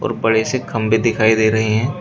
बड़े से खंभे दिखाई दे रहे हैं।